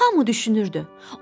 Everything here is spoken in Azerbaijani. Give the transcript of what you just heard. Hamı düşünürdü: